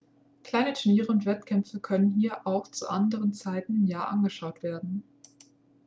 kleinere turniere und wettkämpfe können hier auch zu anderen zeiten im jahr angeschaut werden.x